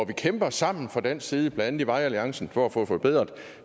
vi kæmper sammen fra dansk side blandt andet i vejalliancen for at få forbedret